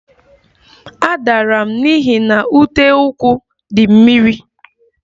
A dara m n'ihi na uteụkwụ di mmiri